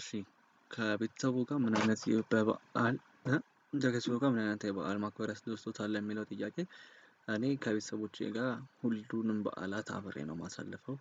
እሺ ከቤተሰቦ ጋር ምን አይነት በበዓል ከቤተሰቦ ጋር ምን አይነት የበአል ማክበር ያስደስቶታል? የሚለው ጥያቄ። እኔ ከቤተሰቦቼ ጋር ሁሉንም በዓላት አብሬ ነው የማሳልፈው።